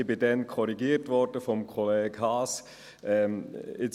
Ich wurde daraufhin von Kollege Haas korrigiert.